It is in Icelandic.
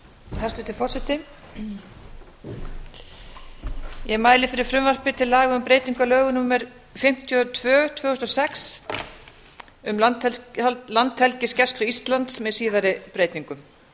hæstvirtur forseti ég mæli fyrir frumvarpi til laga um breytingu á lögum númer fimmtíu og tvö tvö þúsund og sex um landhelgisgæslu íslands með síðari breytingum